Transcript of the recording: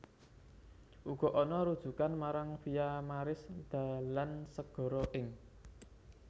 Uga ana rujukan marang Via Maris dalan segara ing